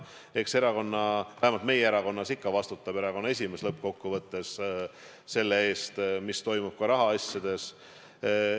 Eks erakonnas – vähemalt meie erakonnas küll – vastutab ikka erakonna esimees lõppkokkuvõttes selle eest, mis toimub rahaasjades.